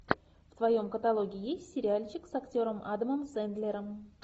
в твоем каталоге есть сериальчик с актером адамом сэндлером